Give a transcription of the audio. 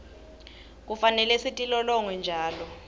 kufanele sitilolonge njalo